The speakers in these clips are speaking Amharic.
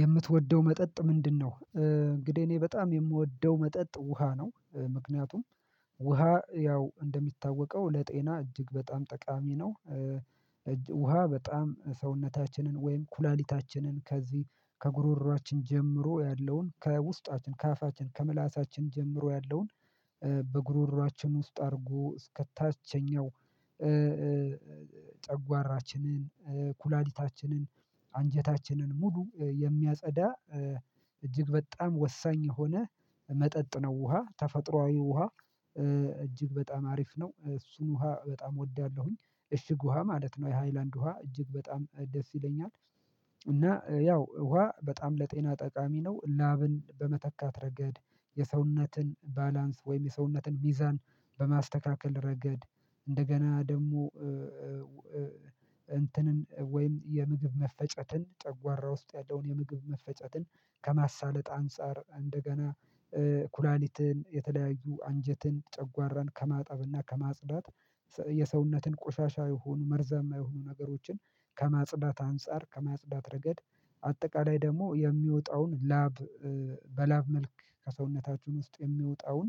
የምትወደው መጠጥ ምንድነው? እንግዲህ እኔ በጣም የምወደው መጠጥ ውሃ ነው ምክንያቱም ውሃ ያው እንደሚታወቀው ለጤና እጅግ በጣም ጠቃሚ ነው። ውሃ በጣም ሰውነታችንን ወይም ኩላሊታችንን ከዚህ ከጉሮሮአችን ጀምሮ ያለውን ከውስጣችን ከአፋችን ከምላሳችን ጀምሮ ያለውን በጉሮሮአችን ውስጥ አድርጎ እስከታችኛው ጨጓራችንን ኩላሊታችንን አንጀታችንን ሙሉ የሚያጸዳ እጅግ በጣም ወሳኝ የሆነ መጠጥ ነው ውሃ ተፈጥሮአዊ ውሃ እጅግ በጣም አሪፍ ነው እሱን ውሃ በጣም እወዳለሁኝ። እሽግ ውሃ ማለት ነው የሃይላንድ ውሃ እጅግ በጣም ደስ ይለኛል። እና ያው ውሃ በጣም ለጤና ጠቃሚ ነው ላብን በመተካት ረገድ የሰውነትን ባላንስ ወይም የሰውነትን ሚዛን በማስተካከል ረገድ እንደገና ደግሞ እንትንን ወይም የምግብ መፈጨትን ጨጓራ ውስጥ ያለውን የምግብ መፈጨትን ከማሳለጥ አንፃር እንደገና ኩላሊትን የተለያዩ አንጀትን ጨጓራን ከማጠብና ከማጽዳት የሰውነትን ቆሻሻ የህኑ መርዛማ የሆኑ ነገሮችን ከማጽዳት አንፃር ከማጽዳት ረገድ አጠቃላይ ደግሞ የሚወጣውን ላብ በላብ መልክ ከሰውነታችሁን ውስጥ የሚወጣውን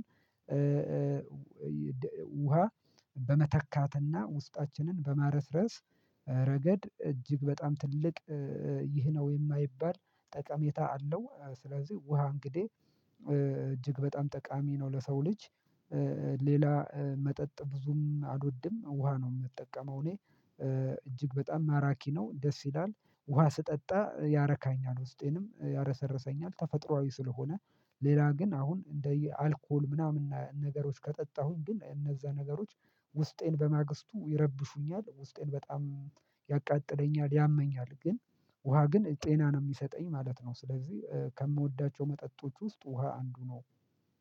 ውሃ በመተካትና ውስጣችንን በማረስረስ ረገድ እጅግ በጣም ትልቅ ይህ ነው የማይባል ጠቀሜታ አለው። ስለዚህ ውሃ እንግዲህ እጅግ በጣም ጠቃሚ ነው ለሰው ልጅ። መጠጥ ብዙም አልወድም ውሃ ነው የምጠቀመው እኔ እጅግ በጣም ማራኪ ነው ደስ ይላል ውሃ ስጠጣ ያረካኛል ውስጤንም ያረሰረሰኛል። ተፈጥሮአዊ ስለሆነ ሌላ ግን አሁን እንደ አልኮል ምናምን ነገሮች ከጠጣሁኝ ግን እነዛ ነገሮች ውስጤን በማግስቱ ይረብሹኛል ውስጤን በጣም ያቃጥለኛል ያመኛል ግን ውሃ ግን ጤና ነው የሚሰጠኝ ማለት ነው። ስለዚህ ከምወዳቸው መጠጦች ውስጥ ውሃ አንዱ ነው